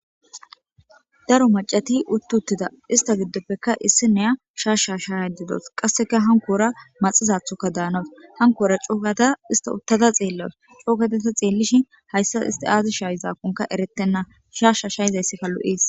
daro macati uttuttida ista giddoppekka issi neya shaashsha shaayadedos qasseka hankoora maxizathoka daanota hankoora coogada ista uttada xeellas coogatata xeellishin hayssa isti aazi shaayzakkonka eretenna shaasha shayizayssikka lu7ees